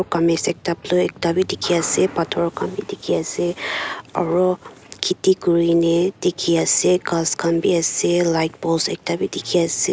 kamis ekta blue ekta bi tiki ase bator kan bi tiki ase aro kiti kurine tiki ase kas kan bi ase light post ekta vi tiki ase.